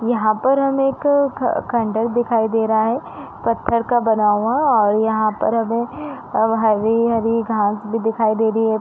यहाँ पर हमें एक ख खंडहर दिखाई दे रहा है पत्थर का बना हुआ और यहाँ पर हमें अब हरी-हरी घास भी दिखाई दे रही हैं।